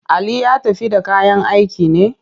Ali ya tafi da kayan aikin ne?